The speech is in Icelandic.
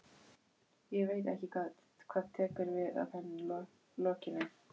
Ég veit ekki hvað tekur við að henni lokinni.